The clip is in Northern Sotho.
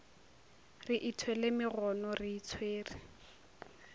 re ithwele megono re itshwere